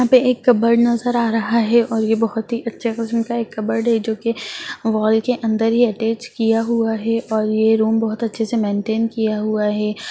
यहाँ पे एक कवर्ड नजर आ रहा है और ये बहुत ही अच्छा किस्म का एक कवर्ड है जो की वॉल के अंदर ही अटैच किया हुआ है और ये रूम बहुत अच्छे से मेन्टेन किया हुआ है|